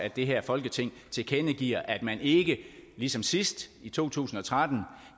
at det her folketing tilkendegiver at man ikke ligesom sidst i to tusind og tretten